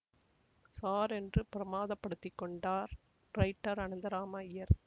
sir என்று பிரமாதப் படுத்திக்கொண்டார் ரைட்டர் அனந்தராம அய்யர்